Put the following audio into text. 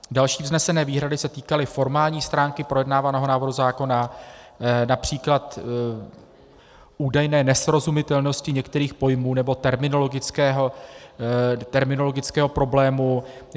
Další vznesené výhrady se týkaly formální stránky projednávaného návrhu zákona, například údajné nesrozumitelnosti některých pojmů nebo terminologického problému.